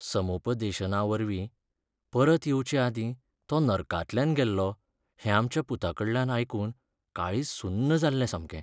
समुपदेशनावरवीं परत येवचेआदीं तो नर्कांतल्यान गेल्लो हें आमच्या पुताकडल्यान आयकून काळीज सुन्न जाल्लें सामकें.